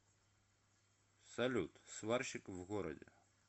салют сварщик в городе